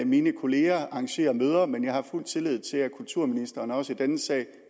mine kollegaer arrangerer møder men jeg har fuld tillid til at kulturministeren også i denne sag